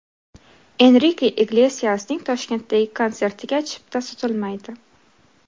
Enrike Iglesiasning Toshkentdagi konsertiga chipta sotilmaydi.